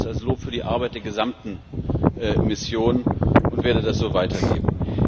Ich nehme das als Lob für die Arbeit der gesamten Mission und werde das so weitergeben.